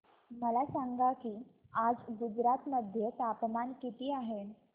मला सांगा की आज गुजरात मध्ये तापमान किता आहे